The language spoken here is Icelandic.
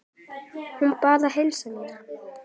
Hún bað að heilsa þér.